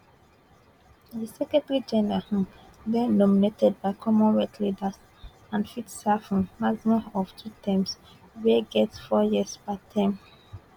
di secretarygeneral um dey nominated by commonwealth leaders and fit serve um maximum of two terms wey get four years per term